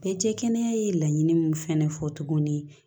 Bɛɛ tɛ kɛnɛya ye laɲini min fana fɔ tuguni